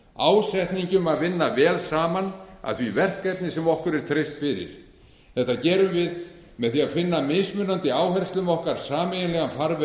ásetningi um að vinna vel saman að því verkefni sem okkur er treyst fyrir þetta gerum við með því að finna mismunandi áherslum okkar sameiginlegan